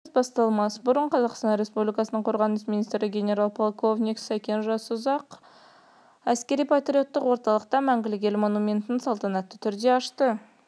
мерекелік концерт басталмас бұрын қазақстан республикасының қорғаныс министрі генерал-полковник сәкен жасұзақов әскери-патриоттық орталықта мәңгілік ел монументін салтанатты түрде ашты